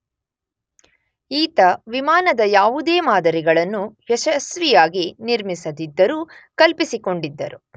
ಈತ ವಿಮಾನದ ಯಾವುದೇ ಮಾದರಿಗಳನ್ನು ಯಶಸ್ವಿಯಾಗಿ ನಿರ್ಮಿಸದಿದ್ದರೂ ಕಲ್ಪಿಸಿಕೊಂಡಿದ್ದರು